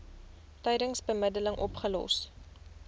tydens bemiddeling opgelos